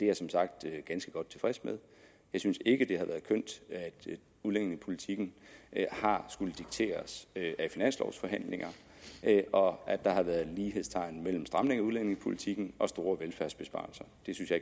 jeg som sagt ganske godt tilfreds med jeg synes ikke at det har været kønt at udlændingepolitikken har skullet dikteres af finanslovforhandlinger og at der har været lighedstegn mellem stramninger af udlændingepolitikken og store velfærdsbesparelser